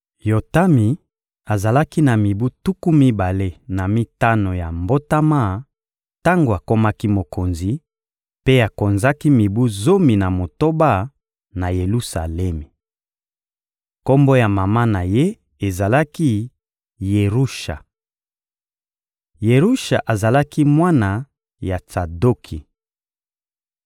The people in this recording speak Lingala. Yotami azalaki na mibu tuku mibale na mitano ya mbotama tango akomaki mokonzi, mpe akonzaki mibu zomi na motoba na Yelusalemi. Kombo ya mama na ye ezalaki «Yerusha.» Yerusha azalaki mwana ya Tsadoki.